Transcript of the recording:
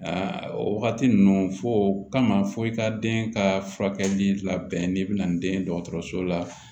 o wagati ninnu fɔ o kama fɔ i ka den ka furakɛli labɛn n'i bɛna ni den ye dɔgɔtɔrɔso la